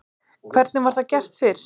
Hvernig var það gert fyrst?